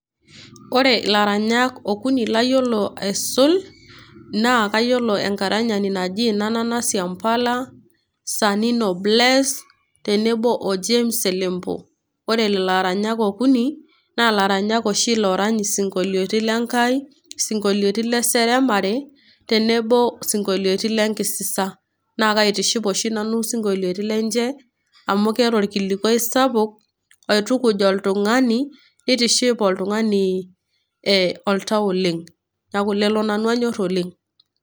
ore ilaranyak okuni layiolo aisul, naa kayiolo enaranyani naji nana siampala, sanino bless,o james selempo. ore lelo aranyak okuni, naa laranyak oshi loorany isinkoliotin lenkai, isinkolitin le seremare, tenebo isinkoloitin le nkisisa, naa kaitiship oshi nanu isinkoloitin lenche, amu keeta orkilikuai sapuk oitukuj oltungani, neitiship oltungani oltau oleng. neeku lelo nanu anyor oleng.